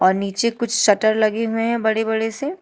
और नीचे कुछ शटर लगे हुए हैं बड़े बड़े से।